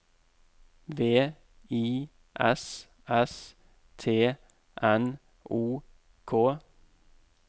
V I S S T N O K